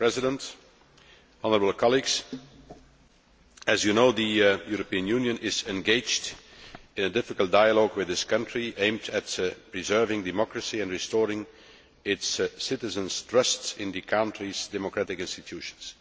Mr President, honourable colleagues, as you know, the European Union is engaged in a difficult dialogue with this country aimed at preserving democracy and restoring its citizens' trust in the country's democratic institutions.